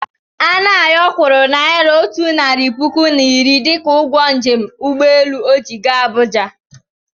Anayọ kwụrụ naira otu narị puku na iri dịka ụgwọ njem ụgbọelu ọ ji gaa Abuja.